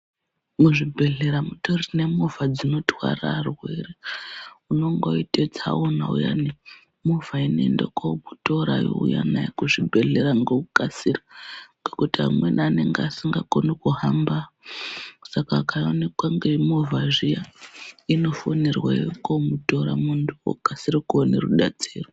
Muzvibhedhlera mutori nemovha dzinotwara arwere unongoite tsaona uyani movha inoende komutora yomuunza kuzvibhedhlera ngokukasira ngokuti amweni anonga asingakoni kuhamba saka akaonekwa ngemovha zviya inofonerwa youya komutora muntu okasira kuone rudetsero.